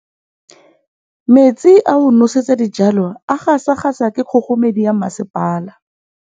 Metsi a go nosetsa dijalo a gasa gasa ke kgogomedi ya masepala.